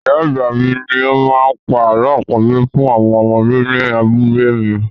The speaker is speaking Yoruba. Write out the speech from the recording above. Ì̀yá àgbà mi ni ó máa ń pa àlọ́ àpagbè fún àwọn ọmọdé ní abúlé mi.